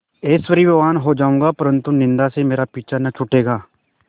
ऐश्वर्यवान् हो जाऊँगा परन्तु निन्दा से मेरा पीछा न छूटेगा